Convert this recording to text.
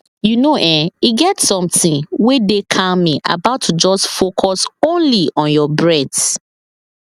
you know[um]e get something wey dey calming about to just focus only on your breath